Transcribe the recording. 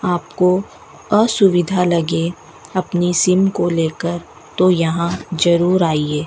आपको असुविधा लगे अपनी सिम को लेकर तो यहां जरूर आइये।